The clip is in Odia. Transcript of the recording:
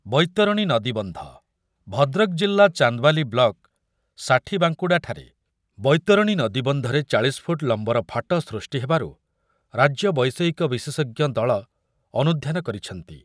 ବୈତରଣୀ ନଦୀବନ୍ଧ, ଭଦ୍ରକ ଜିଲ୍ଲା ଚାନ୍ଦବାଲି ବ୍ଲକ ଷାଠିବାଙ୍କୁଡ଼ାଠାରେ ବୈତରଣୀ ନଦୀବନ୍ଧରେ ଚାଳିଶ ଫୁଟ୍ ଲମ୍ବର ଫାଟ ସୃଷ୍ଟି ହେବାରୁ ରାଜ୍ୟ ବୈଷୟିକ ବିଶେଷଜ୍ଞ ଦଳ ଅନୁଧ୍ୟାନ କରିଛନ୍ତି।